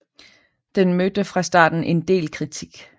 Den mødte fra starten en del kritik